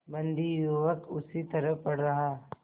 बंदी युवक उसी तरह पड़ा रहा